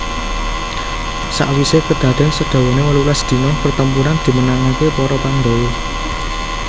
Sawise kadaden sadawane wolulas dina pertempuran dimenangake para Pandhawa